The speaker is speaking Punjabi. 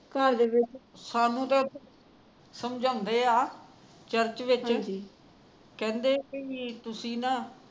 ਘਰ ਦੇ ਵਿੱਚ ਸਾਨੂੰ ੍ਤਾਂ ਸਮਝਾਉਂਦੇ ਐ ਚਰਚ ਵਿਚ ਕਹਿੰਦੇ ਭਈ ਤੁਸੀ ਨਾ